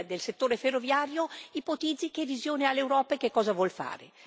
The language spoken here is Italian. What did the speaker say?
del settore ferroviario, ipotizzi che visione ha l'Europa e che cosa vuol fare.